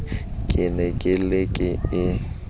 ke ne ke le e